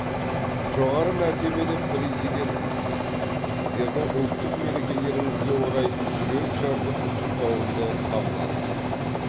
жоғары мәртебелі президент мырза сіздердің ұлттық мерекелеріңізге орай жүрекжарды құттықтауымды қабыл алыңыз